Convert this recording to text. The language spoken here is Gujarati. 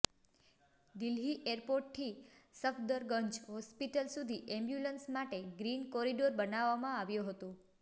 દિલ્હી એરપોર્ટથી સફદરગંજ હોસ્પિટલ સુધી એમ્બ્યુલન્સ માટે ગ્રીન કોરિડોર બનાવવામાં આવ્યો હતો